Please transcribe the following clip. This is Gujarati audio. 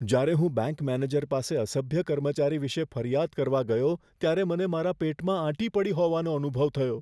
જ્યારે હું બેંક મેનેજર પાસે અસભ્ય કર્મચારી વિશે ફરિયાદ કરવા ગયો ત્યારે મને મારા પેટમાં આંટી પડી હોવાનો અનુભવ થયો.